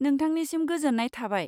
नोंथांनिसिम गोजोन्नाय थाबाय।